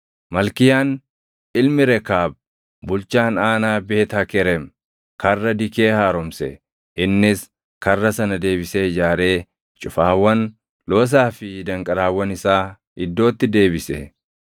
Malkiyaan ilmi Rekaab bulchaan aanaa Beet Hakerem Karra Dikee haaromse. Innis karra sana deebisee ijaaree cufaawwan, loosaa fi danqaraawwan isaa iddootti deebise.